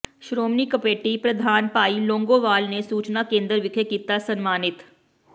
Shiromani committee ਪ੍ਰਧਾਨ ਭਾਈ ਲੌਂਗੋਵਾਲ ਨੇ ਸੂਚਨਾ ਕੇਂਦਰ ਵਿਖੇ ਕੀਤਾ ਸਨਮਾਨਿਤ